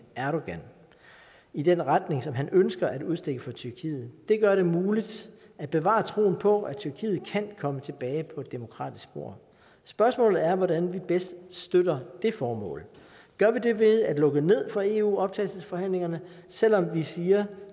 erdogan i den retning som han ønsker at udstikke for tyrkiet det gør det muligt at bevare troen på at tyrkiet kan komme tilbage på et demokratisk spor spørgsmålet er hvordan vi bedst støtter det formål gør vi det ved at lukke ned for eu optagelsesforhandlingerne selv om vi siger